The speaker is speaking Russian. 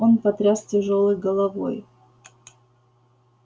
он потряс тяжёлой головой